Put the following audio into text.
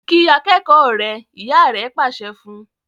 kí akékòó rẹ! ìyá rẹ pàṣẹ fún.